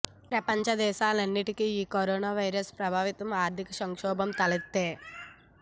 ప్రపంచ దేశాలన్నింటికీ ఈ కరోనా వైరస్ ప్రభావంతో ఆర్థిక సంక్షోభం తలెత్తే